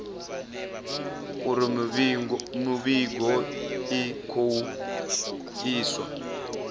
uri mivhigo i khou iswa